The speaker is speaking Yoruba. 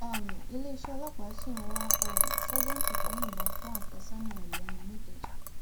um iléeṣẹ ọlọpàá sì ń wá um sájẹǹtì tó yìnbọn fún àfẹsọnà ẹ lẹnu nìkẹjà